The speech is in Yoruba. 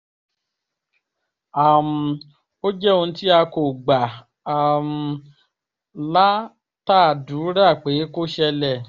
um ó jẹ́ ohun tí a kò gbà um látàdúrà pé kó ṣẹlẹ̀